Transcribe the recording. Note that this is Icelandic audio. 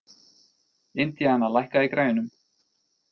Indiana, lækkaðu í græjunum.